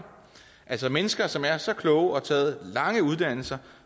altså mennesker som er så kloge og har taget lange uddannelser